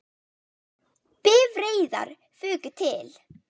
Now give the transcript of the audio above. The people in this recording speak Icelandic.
Bifreiðar fuku til